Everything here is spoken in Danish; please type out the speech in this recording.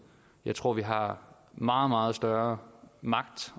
jeg tror vi har meget meget større magt